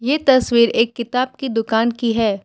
ये तस्वीर एक किताब की दुकान की है।